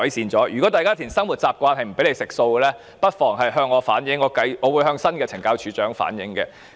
因此，如果大家填寫因生活習慣而要吃素但卻遭署方拒絕，不妨向我反映，我會再向新的懲教署署長反映。